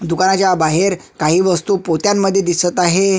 दुकानाच्या बाहेर काही वस्तु पोत्यांमध्ये दिसत आहे.